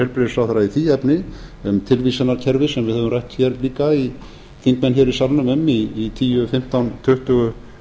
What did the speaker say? heilbrigðisráðherra í því efni um tilvísanakerfi sem við höfum rætt líka þingmenn í salnum í tíu fimmtán tuttugu